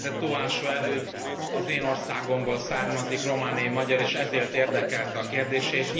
Tóásó Előd az én országomból származik, romániai magyar, és ezért érdekelt a kérdése.